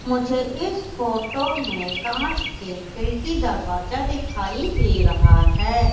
मुझे इस फोटो में कांच के खिड़की दरवाजा दिखाई दे रहा है।